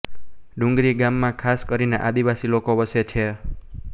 ડુંગરી ગામમાં ખાસ કરીને આદિવાસી લોકો વસે છે